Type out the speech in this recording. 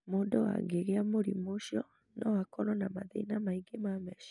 Mũndũ angĩgĩa mũrimũ ũcio, no akorũo na mathĩna maingĩ ma meciria.